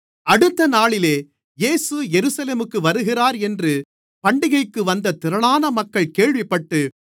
அடுத்தநாளிலே இயேசு எருசலேமுக்கு வருகிறார் என்று பண்டிகைக்கு வந்த திரளான மக்கள் கேள்விப்பட்டு